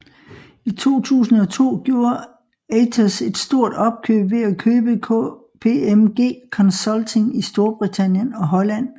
I 2002 gjorde Atos et stort opkøb ved at købe KPMG Consulting i Storbritannien og Holland